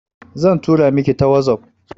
Zan tura miki ta wazof